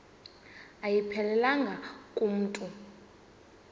ayiphelelanga ku mntu